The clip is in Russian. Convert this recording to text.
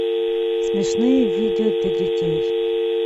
смешные видео для детей